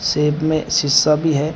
Shape में शिशा भी है।